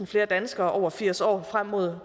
flere danskere over firs år frem mod